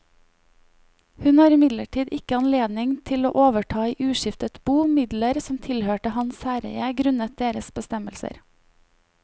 Hun har imidlertid ikke anledning til å overta i uskiftet bo midler som tilhørte hans særeie grunnet deres bestemmelser.